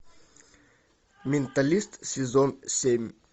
менталист сезон семь